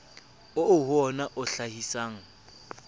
oo ho wona o hlahisang